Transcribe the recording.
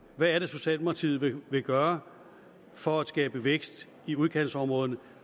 hvad er det socialdemokratiet vil vil gøre for at skabe vækst i udkantsområderne